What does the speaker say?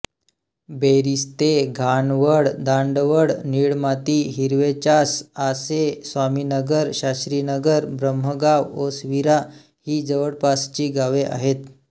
बेरीस्ते घाणवळ दांडवळ निळमाती हिरवेचासआसे स्वामीनगर शास्रीनगर ब्रह्मगाव ओसरविरा ही जवळपासची गावे आहेत